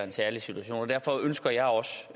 en særlig situation og derfor ønsker jeg også